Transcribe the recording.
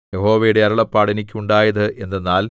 യഹോവയുടെ അരുളപ്പാട് എനിക്കുണ്ടായത് എന്തെന്നാൽ